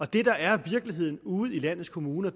det der er virkeligheden ude i landets kommuner